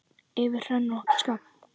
Yfir hrönn og skafl!